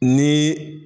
Ni